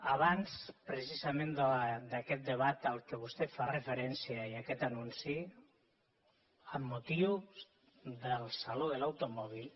abans precisament d’aquest debat a què vostè fa referència i a aquest anunci amb motiu del saló de l’automòbil